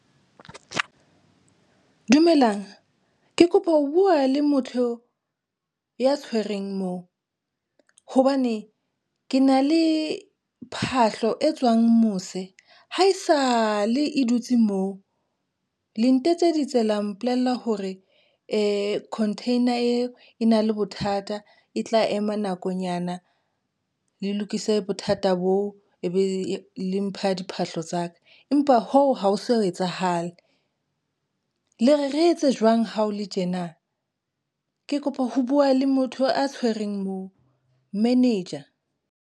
Dumelang ke kopa ho bua le motho ya tshwereng moo hobane ke na le phahlo e tswang mose. Haesale e dutse moo le ntetseditse tsela mpolella hore ee, container eo e na le bothata e tla ema nakonyana le lokise bothata boo, e be le mpha diphahlo tsa ka, empa ho ha ho so etsahale le re re etse jwang? Ha ho le tjena ke kopa ho bua le motho a tshwereng moo manage.